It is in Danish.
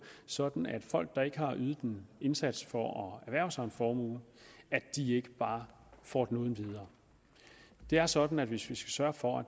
sådan at folk der ikke har ydet en indsats for at erhverve sig en formue ikke bare får den uden videre det er sådan at hvis vi skal sørge for at